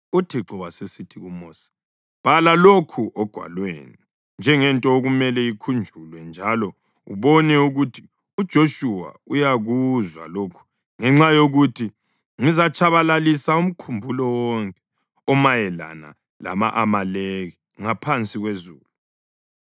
UThixo wasesithi kuMosi, “Bhala lokhu ogwalweni njengento okumele ikhunjulwe njalo ubone ukuthi uJoshuwa uyakuzwa lokhu ngenxa yokuthi ngizatshabalalisa umkhumbulo wonke omayelana lama-Amaleki ngaphansi kwezulu.”